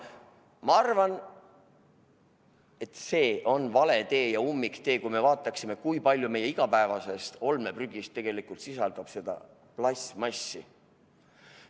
Ma arvan, et see on vale tee, ummiktee, kui me arvestame, kui palju meie igapäevasest olmeprügist tegelikult sisaldab just seda plastmassi.